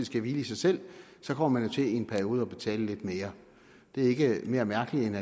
skal hvile i sig selv så kommer man i en periode til at betale lidt mere det er ikke mere mærkeligt end